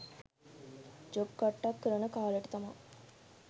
job කට්ටක් කරන කාලෙට තමා